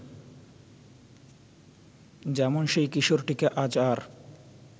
যেমন সেই কিশোরটিকে আজ আর